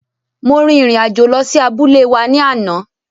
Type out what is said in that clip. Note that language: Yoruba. Mo rin ìrìn àjò lọ sí abúlé wa ní àná.